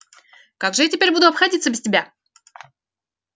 как же я теперь буду обходиться без тебя